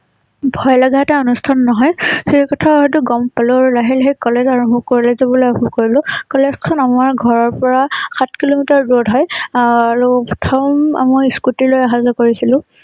ভয় লগ এটা অনুষ্ঠান নহয় সেই কথা হয়তো গম পালো আৰু লাহে লাহে কলেজ আৰম্ভ কৰি কলেজ যাব আৰম্ভ কৰিলোঁ। কলেজ খন আমাৰ ঘৰৰ পৰা সাত কিলোমিটাৰ দূৰত হয়। আআৰু প্ৰথম মই scooter লৈ অহা যোৱা কৰিছিলোঁ ।